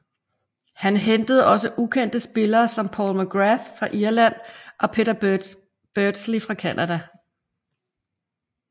Han hentede også ukendte spillere som Paul McGrath fra Irland og Peter Beardsley fra Canada